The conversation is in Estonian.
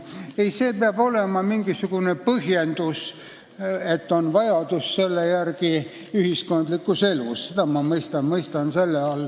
Ei, see tähendab mingisugust põhjendust, et selle järele on ühiskondlikus elus vajadus – seda ma mõistan siin sõna "huvi" all.